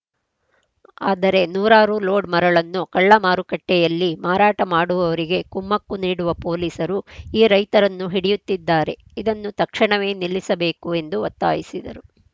ಆದರೆ ನೂರಾರು ಲೋಡ್‌ ಮರಳನ್ನು ಕಳ್ಳ ಮಾರುಕಟ್ಟೆಯಲ್ಲಿ ಮಾರಾಟ ಮಾಡುವವರಿಗೆ ಕುಮ್ಮಕ್ಕು ನೀಡುವ ಪೊಲೀಸರು ಈ ರೈತರನ್ನು ಹಿಡಿಯುತ್ತಿದ್ದಾರೆ ಇದನ್ನು ತಕ್ಷಣವೇ ನಿಲ್ಲಿಸಬೇಕು ಎಂದು ಒತ್ತಾಯಿಸಿದರು